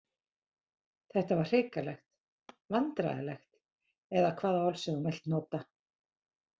Þetta var hrikalegt, vandræðalegt eða hvaða orð sem þú vilt nota.